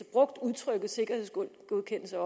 brugt udtrykket sikkerhedsgodkendelse